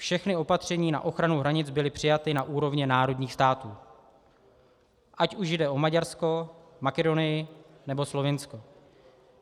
Všechna opatření na ochranu hranic byla přijata na úrovni národních států, ať už jde o Maďarsko, Makedonii, nebo Slovinsko.